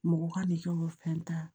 Mɔgɔ ka de kɛ o fɛn ta